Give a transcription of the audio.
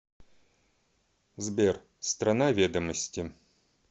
сбер страна ведомости